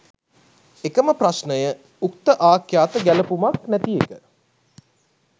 එකම ප්‍රශ්නය උක්ත ආඛ්‍යාත ගැලපුමක් නැති එක